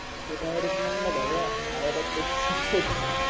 तो डायरेक्ट म्हणला भाग्या आहेरतच